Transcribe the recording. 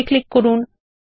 okay click করুন